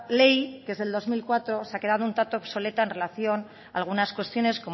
ley que es del dos mil cuatro se ha quedado un tanto obsoleta en relación a algunas cuestiones